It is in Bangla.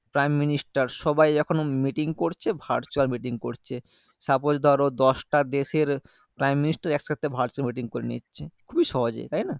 prime minister সবাই এখন meeting করছে virtual meeting করছে suppose ধরো দশটা দেশের prime minister একসাথে virtual meeting করে নিচ্ছে খুবই সহজে তাইনা